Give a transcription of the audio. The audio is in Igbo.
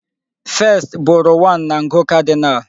1st bụrụ 1 na ngụ cardinal.